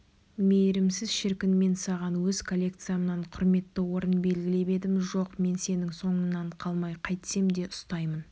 мейірімсіз шіркін мен саған өз коллекциямнан құрметті орын белгілеп едім жоқ мен сенің соңыңнан қалмай қайтсем де ұстаймын